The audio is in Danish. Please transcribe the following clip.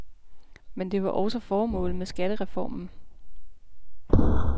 Men det var også formålet med skattereformen.